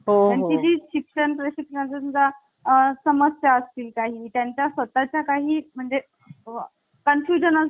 शिक्षण प्रशिक्षणा सुद्धा अ समस्या असतील. काही त्यांचा स्वतः चा काही म्हणजे confusion